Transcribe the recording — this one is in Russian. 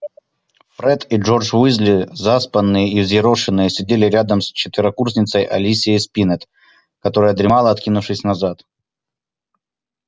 фред и джордж уизли заспанные и взъерошенные сидели рядом с четверокурсницей алисией спиннет которая дремала откинувшись назад